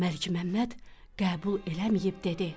Məlikməmməd qəbul eləməyib dedi: